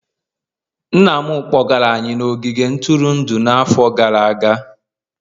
Nna m kpọgara anyị n'ogige ntụrụndụ n'afọ gara aga